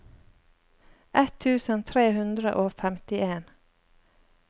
ett tusen tre hundre og femtien